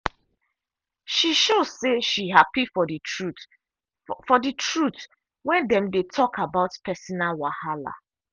she show say she happy for the truth for the truth when dem dey talk about personal wahala.